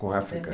Com a África?